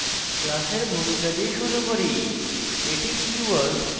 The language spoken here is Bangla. class এর ভূমিকা দিয়ে শুরু করি